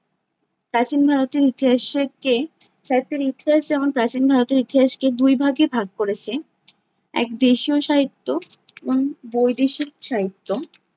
প্রাচীন ভারতের ইতিহাসকে, সাহিত্যের ইতিহাস যেমন প্রাচীন ভারতের ইতিহাসকে দুই ভাগে ভাগ করেছে, এক- দেশীয় সাহিত্য এবং বৈদেশিক সাহিত্য